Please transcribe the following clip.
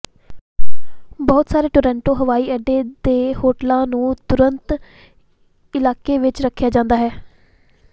ਬਹੁਤ ਸਾਰੇ ਟੋਰਾਂਟੋ ਹਵਾਈ ਅੱਡੇ ਦੇ ਹੋਟਲਾਂ ਨੂੰ ਤੁਰੰਤ ਇਲਾਕੇ ਵਿਚ ਰੱਖਿਆ ਜਾਂਦਾ ਹੈ